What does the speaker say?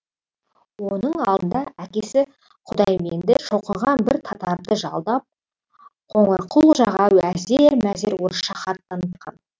оның алдына әкесі құдайменді шоқынған бір татарды жалдап қоңырқұлжаға әзер мәзер орысша хат танытқан